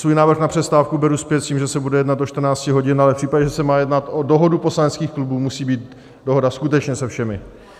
Svůj návrh na přestávku beru zpět s tím, že se bude jednat do 14 hodin, ale v případě, že se má jednat o dohodu poslaneckých klubů, musí být dohoda skutečně se všemi.